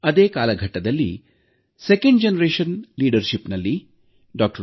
ಅದೇ ಕಾಲಘಟ್ಟದಲ್ಲಿ ಎರಡನೇ ಹಂತದ ನಾಯಕತ್ವದಲ್ಲಿ ಡಾ